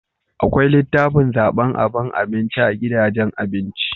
akwai litafin zaban aban abinci a gidajen abinci